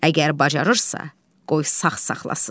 Əgər bacarırsa, qoy sağ saxlasın.